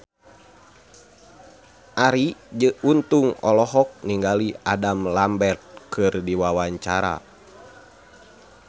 Arie Untung olohok ningali Adam Lambert keur diwawancara